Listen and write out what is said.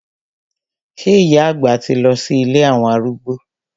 Sé ìyá àgbà ti lọ sí ilé àwọn arúgbó?